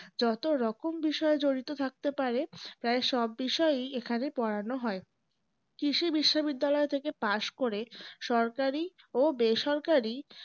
যতরকম বিষয় জড়িত থাকতে পারে প্রায় সব বিষয়েই এখানে পড়ানো হয়। কৃষি বিশ্ববিদ্যালয় থেকে পাশ করে সরকারি ও বেসরকারি